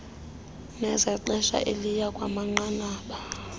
nezexesha elizayo kwanamanqanaba